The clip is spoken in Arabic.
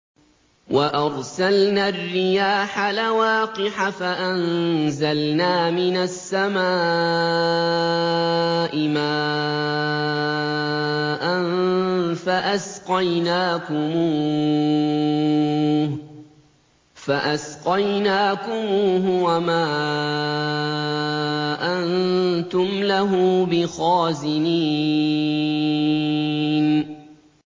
وَأَرْسَلْنَا الرِّيَاحَ لَوَاقِحَ فَأَنزَلْنَا مِنَ السَّمَاءِ مَاءً فَأَسْقَيْنَاكُمُوهُ وَمَا أَنتُمْ لَهُ بِخَازِنِينَ